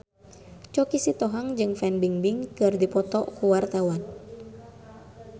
Choky Sitohang jeung Fan Bingbing keur dipoto ku wartawan